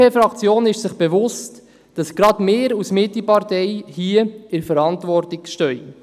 Die BDP-Fraktion ist sich bewusst, dass gerade sie als Mitte-Partei hier in der Verantwortung steht.